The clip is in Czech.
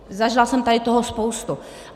Zažila jsem tady toho spoustu.